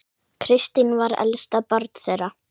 Kristín var elst barna þeirra.